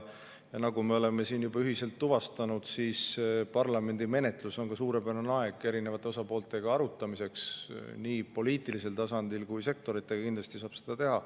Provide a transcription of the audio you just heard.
Ja nagu me oleme siin juba ühiselt tuvastanud, parlamendimenetlus on ka suurepärane aeg eri osapooltega arutamiseks, nii poliitilisel tasandil kui ka sektoritega kindlasti saab seda teha.